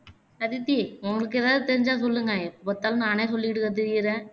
அதித்தி உங்களுக்கு எதாவது தெரிஞ்சா சொல்லுங்க எப்போ பார்த்தாலும் நானே சொல்லிக்கிட்டுத் திரியுறேன்